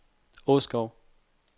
Åskov